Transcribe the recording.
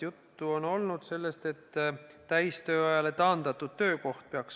Juttu on olnud sellest, et peaks olema täistööajale taandatud töökoht.